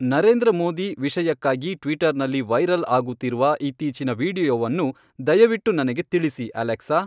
ನರೇಂದ್ರ ಮೋದಿ ವಿಷಯಕ್ಕಾಗಿ ಟ್ವಿಟರ್ನಲ್ಲಿ ವೈರಲ್ ಆಗುತ್ತಿರುವ ಇತ್ತೀಚಿನ ವೀಡಿಯೊವನ್ನು ದಯವಿಟ್ಟು ನನಗೆ ತಿಳಿಸಿ ಅಲೆಕ್ಸಾ